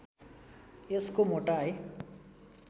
यसको मोटाइ